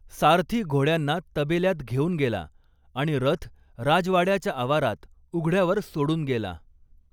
सारथी घोड्यांना तबेल्यात घेऊन गेला आणि रथ राजवाड्याच्या आवारात उघड्यावर सोडून गेला.